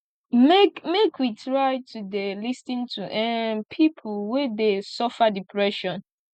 make make we try to dey lis ten to um pipo wey dey suffer depression